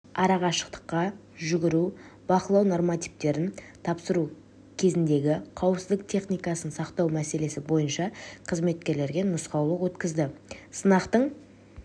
арақашықтыққа жүгіру бақылау нормативтерін тапсыру кезіндегі қауіпсіздік техникасын сақтау мәселесі бойынша қызметкерлерге нұсқаулық өткізді сынақтың